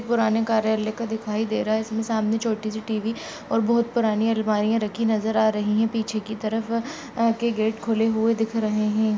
पुराने कार्यालय का दिखाई दे रहा है। इसमे सामने छोटी-सी टी_वी और बोहोत पुरानी आलमारी रखी नजर आ रही है। पीछे की तरफ अ के गेट खुले हुए दिख रहे हैं।